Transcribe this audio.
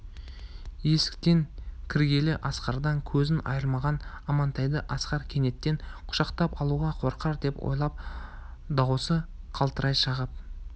есіктен кіргелі асқардан көзін айырмаған амантайды асқар кенеттен құшақтап алуға қорқар деп ойлап даусы қалтырай шығып